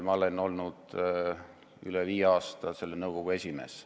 Ma olen olnud üle viie aasta selle nõukogu esimees.